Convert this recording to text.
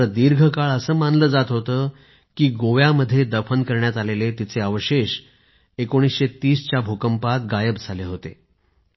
मात्र दीर्घकाळ असे मानले जात होते की गोव्यामध्ये दफन करण्यात आलेले तिचे अवशेष 1930 च्या भूकंपात गायब झाले होते